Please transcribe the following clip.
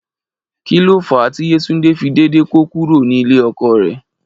Kí ló fà á tí Yétúndé fi dédé kó kúrò nílé ọkọ rẹ̀?